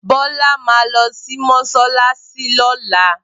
Bola ma lo si mosalasi lola